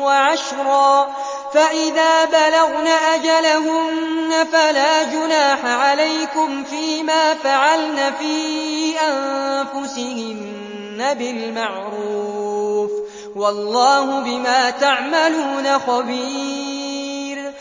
وَعَشْرًا ۖ فَإِذَا بَلَغْنَ أَجَلَهُنَّ فَلَا جُنَاحَ عَلَيْكُمْ فِيمَا فَعَلْنَ فِي أَنفُسِهِنَّ بِالْمَعْرُوفِ ۗ وَاللَّهُ بِمَا تَعْمَلُونَ خَبِيرٌ